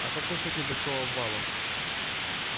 а как насчёт небольшого обвала